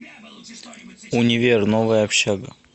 универ новая общага